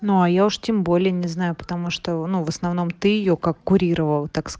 ну а я уж тем более не знаю потому что ну в основном ты её как курировал так с